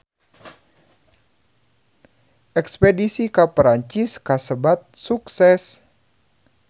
Espedisi ka Perancis kasebat sukses